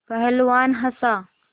पहलवान हँसा